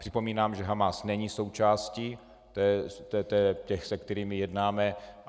Připomínám, že Hamas není součástí těch, se kterými jednáme.